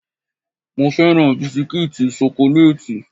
Mo féràn bisikítì ṣokolátì.